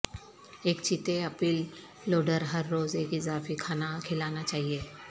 ایک چیتے ایپل لوڈر ہر روز ایک اضافی کھانا کھلانا چاہئے